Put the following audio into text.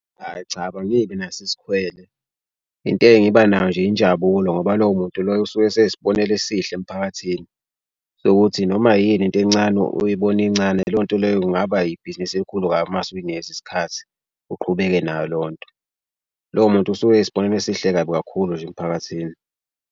Hhayi cha angibi naso isikwele into engiba nayo nje injabulo ngoba lowo muntu loyo usuke eseyisbonelo esihle emphakathini sokuthi noma yini into encane uyibona incane leyo nto leyo kungaba yibhizinisi elikhulu kwabi uma ngase uyinikeze isikhathi uqhubeke nayo leyo nto. Lowo muntu usuke eyyisibonelo esihle kabi kakhulu nje emphakathini.